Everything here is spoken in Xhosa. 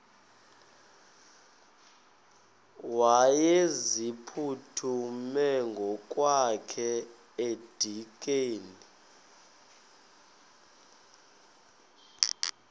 wayeziphuthume ngokwakhe edikeni